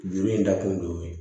Juru in dakun don